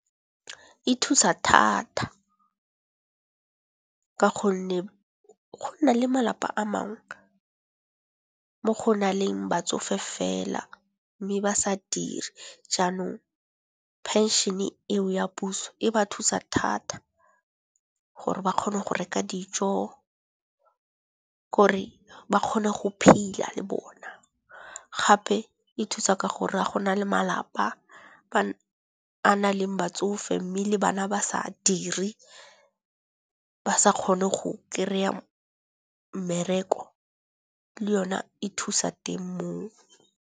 E thusa thata ka gonne go na le malapa a mangwe mo go na leng batsofe fela, mme ba sa dire. Jaanong phenšene eo ya puso e ba thusa thata gore ba kgone go reka dijo gore ba kgone go phela le bona. Gape e thusa ka gore ga go na le malapa a na leng batsofe mme le bana ba sa dire ba sa kgone go kry-a mmereko le yone e thusa teng mo.